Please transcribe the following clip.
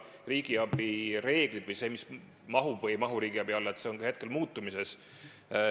Riigiabi reeglid või see, mis mahub või ei mahu riigiabi alla, on ka muutumises.